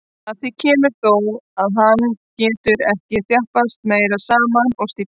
Að því kemur þó, að hann getur ekki þjappast meira saman og stífnar.